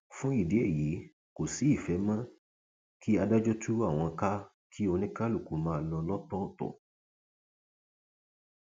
fún ìdí èyí kò sí ìfẹ mọ kí adájọ tú àwọn ká kí oníkálukú máa lọ lọtọọtọ